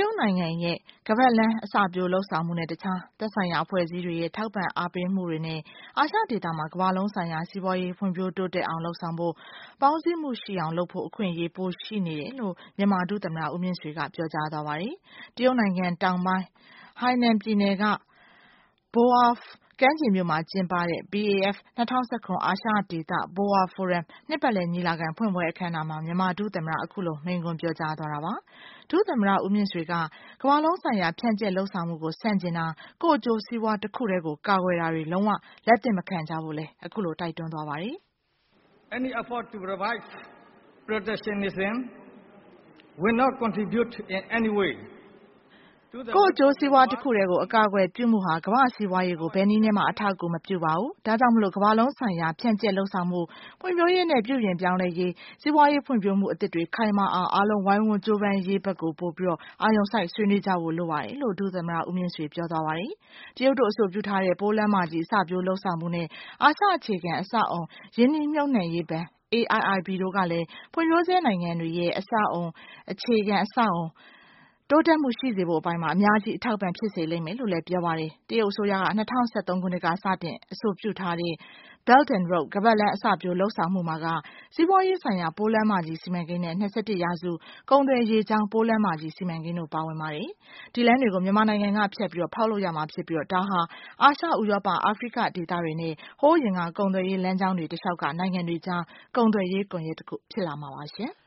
တ်နိုင်ငံရဲ့ ပိုးလမ်းမကြီး စီမံကိန်းနဲ့ တခြား သက်ဆိုင်ရာ အဖွဲ့အစည်းတွေရဲ့ ထောက်ပံ့အားပေးမှုတွေနဲ့ အာရှဒေသမှာ ကမ္ဘာလုံးဆိုင်ရာ စီးပွားရေး ဖွံ့ဖြိုးတိုးတက်အောင်လုပ်ဆောင်ဖို့၊ ပေါင်းစည်းမှုရှိအောင်လုပ်ဖို့ အခွင့်အရေး ပိုရှိနေတယ်လို့ မြန်မာ ဒုသမ္မတ ဦးမြင့်ဆွေက ပြောကြားသွားပါတယ်။ တရုတ်နိုင်ငံတောင်ပိုင်း Hainan ပြည်နယ်က Boao ကမ်းခြေမြို့မှာ ကျင်းပတဲ့ BAF ၂၀၁၇ အာရှဒေသ Boao Forum နှစ်ပတ်လည် ညီလာခံဖွင့်ပွဲအခမ်းအနားမှာ မြန်မာဒုသမ္မတ က အခုလို မိန့်ခွန်းပြောကြားသွားတာပါ။ ဦးမြင့်ဆွေက ကမ္ဘာလုံးဆိုင်ရာ ဖြန့်ကျက်လုပ်ဆောင်မှုကို ဆန့်ကျင်တာ ကိုယ့်အကျိုးစီးပွားတခုတည်းကို ကာကွယ်တာတွေကို လုံးဝလက်သင့်မခံကြဖို့လညိး တိုက်တွန်းသွားပါတယ်။ "ကိုယ့်အကျိုးစီးပွားတခုတည်းကို အကာအကွယ်ပြုမှုဟာ ကမ္ဘာ့စီးပွားရေးကို ဘယ်နည်းနဲ့မှ အထောက်အကူမပြုပါဘူး။ ဒါ့ကြောင့် ကမ္ဘာလုံးဆိုင်ရာ ဖြန့်ကျက်လုပ်ဆောင်မှု၊ ဖွံ့ဖြိုးရေး၊ ပြုပြင်ပြောင်းလဲရေးနဲ့ စီးပွားရေးဖွံ့ဖြိုးမှုအသစ်တွေ ခိုင်မာအောင် အားလုံးဝိုင်းဝန်းကြိုးပမ်းရေးဘက်ပို အာရုံစိုက် ဆွေးနွေးကြဖို့လိုပါတယ်"လို့ ဒုသမ္မတ ဦးမြင့်ဆွေက ပြောသွားတာပါ။ တရုတ်တို့ အဆိုပြုထားတဲ့ ပိုးလမ်းမကြီး အစပျိုးလုပ်ဆောင်မှုနဲ့ အာရှ အခြေခံအဆောက်အဦး ရင်းနှီးမြှုပ်နှံရေးဘဏ် (AIIB) တို့ကလည်း ဖွံ့ဖြိုးဆဲနိုင်ငံတွေရဲ့ အခြေခံအဆောက်အဦးဆအပိုင်း တိုးတက်မှုရှိစေဖို့အပိုင်းမှာ အများကြီး အထောက်အပံ့ဖြစ်စေလိမ့်မယ်လို့လည်း ပြောပါတယ်။ တရုတ်အစိုးရ ၂၀၁၃ က စတင် အဆိုပြုထားတဲ့ Belt and Road ခါးပတ်လမ်း အစပျိုးလုပ်ဆောင်မှုမှာက Silk Road Economic Belt လို့ခေါ်တဲ့ စီးပွါးရေးဆိုင်ရာပိုးလမ်းမကြီး စီမံကိန်း နဲ့ ၂၁ ရာစု ကုန်သွယ် ရေကြောင်း ပိုးလမ်းမကြီး စီမံကိန်းတို့ပါဝင်ပါတယ်။ ဒီလမ်းတွေကို မြန်မာနိုင်ငံကနေ ဖြတ်ပြီး ဖောက်လုပ်ရမှာ ဖြစ်ပြီး ဒါဟာ အာရှ၊ ဥရောပ၊ အာဖရိက ဒေသတွေနဲ့ ဟိုးအရင်က ကုန်သွယ်ရေးလမ်းကြောင်းတွေ တလျှောက်က နိုင်ငံတွေကြား ကုန်သွယ်ရေး ကွန်ယက်တခု ဖြစ်လာမှာပါ။